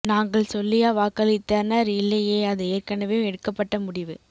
நாங்கள் சொல்லியா வாக்களித்தனர் இல்லையே அது ஏற்கனவே எடுக்கப்பட்ட முடிவு